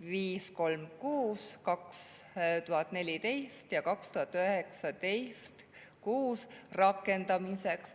536/2014 ja 2019/6 rakendamiseks.